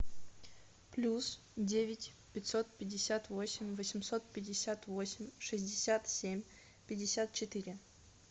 плюс девять пятьсот пятьдесят восемь восемьсот пятьдесят восемь шестьдесят семь пятьдесят четыре